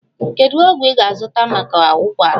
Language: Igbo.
Kedu ọgwụ ị ga-azụta maka ụkwara?